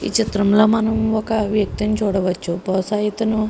ఈ చిత్రంలో మనం ఒక వ్యక్తిని చూడవచ్చు బహుశా ఇతను --